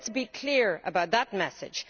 Let us be clear about that message.